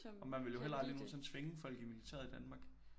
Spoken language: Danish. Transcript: Og man ville jo heller aldrig nogensinde tvinge folk i militæret i Danmark